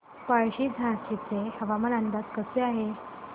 पळशी झाशीचे हवामान आज कसे आहे